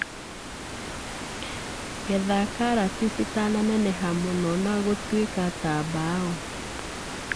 Getha karati citananeneha mũno na gũtuĩka ta mbao.